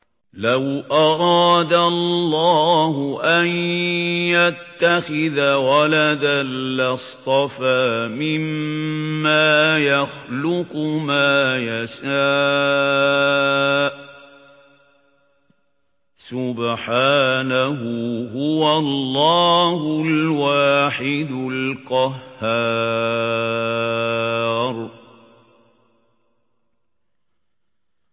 لَّوْ أَرَادَ اللَّهُ أَن يَتَّخِذَ وَلَدًا لَّاصْطَفَىٰ مِمَّا يَخْلُقُ مَا يَشَاءُ ۚ سُبْحَانَهُ ۖ هُوَ اللَّهُ الْوَاحِدُ الْقَهَّارُ